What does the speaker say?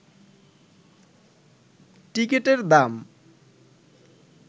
টিকিটের দাম